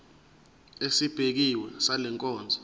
esibekiwe sale nkonzo